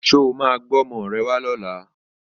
Ṣé o máa gbé ọmọ rẹ wá lọ́la?